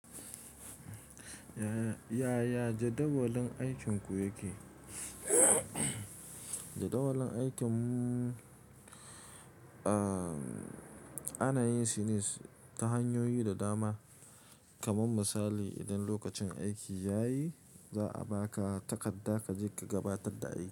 Yaya jadawalin aikinku yake? Jadawalin aikin mu, ana yin shi ne ta hanyoyi da dama. Kaman misali, idan lokacin aiki ya yi, za a ba ka takarda ka je ka gabatar da aiki.